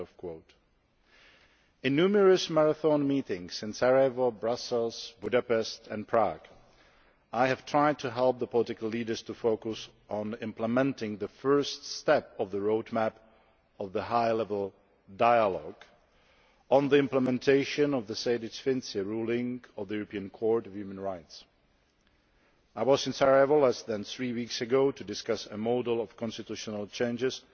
In numerous marathon meetings in Sarajevo, Brussels, Budapest and Prague, I have tried to help the political leaders to focus on implementing the first step of the Roadmap of the High Level Dialogue on the implementation of the Sejdić Finci ruling of the European Court of Human Rights. I was in Sarajevo less than three weeks ago to discuss a model of constitutional changes